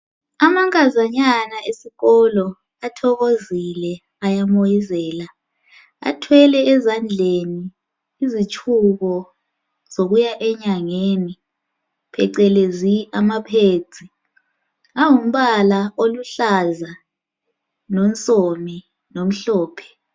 Amankazanyana esikolo athokozile ayamoyizela athwele ezandleleni izitshubo zokuya enyangeni phecelezi amapads angumbala oluhlaza lonsomi lomhlophe